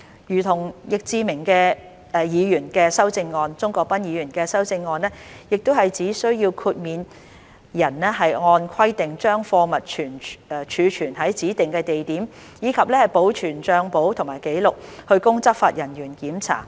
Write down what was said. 如同易志明議員的修正案，鍾國斌議員的修正案亦只需要豁免人按規定把貨物儲存於指定地點，以及保存帳簿及紀錄，供執法人員檢查。